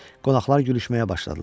Qonaqlar gülüşməyə başladılar.